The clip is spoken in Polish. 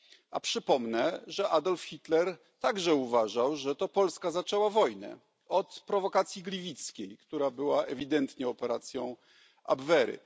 A przypomnę, że Adolf Hitler także uważał, że to Polska zaczęła wojnę od prowokacji gliwickiej, która była ewidentnie operacją Abwehry.